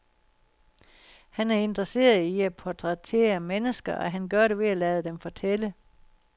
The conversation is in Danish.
Han er interesseret i at portrættere mennesker, og han gør det ved at lade dem fortælle.